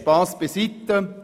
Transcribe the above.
Spass beiseite.